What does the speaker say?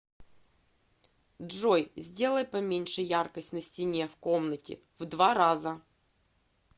джой сделай поменьше яркость на стене в комнате в два раза